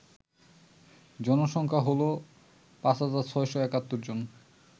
জনসংখ্যা হল ৫৬৭১ জন